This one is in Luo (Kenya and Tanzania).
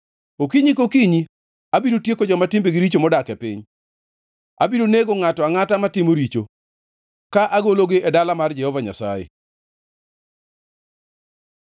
Okinyi kokinyi abiro tieko joma timbegi richo modak e piny. Abiro nego ngʼato angʼata matimo richo ka agologi e dala mar Jehova Nyasaye.